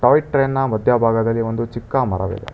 Toy ಟ್ರೈನ್ನ ಮಧ್ಯಭಾಗದಲ್ಲಿ ಒಂದು ಚಿಕ್ಕ ಮರವಿದೆ.